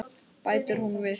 Bætir hún við.